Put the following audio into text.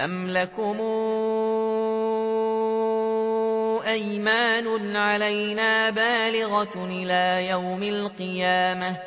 أَمْ لَكُمْ أَيْمَانٌ عَلَيْنَا بَالِغَةٌ إِلَىٰ يَوْمِ الْقِيَامَةِ ۙ